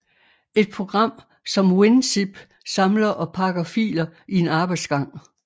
Et program som WinZip samler og pakker filer i en arbejdsgang